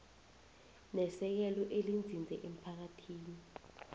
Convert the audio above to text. nesekelo elinzinze emphakathini